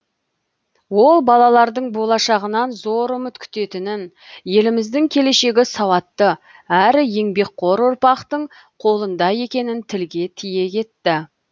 ол балалардың болашағынан зор үміт күтетінін еліміздің келешегі сауатты әрі еңбекқор ұрпақтың қолында екенін тілге тиек етті